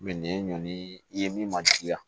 nin ye ɲɔndi ye min ma diya